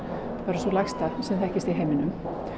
sú lægsta sem þekkist í heiminum